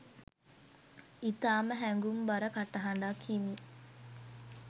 ඉතාම හැඟුම්බර කටහඬක් හිමි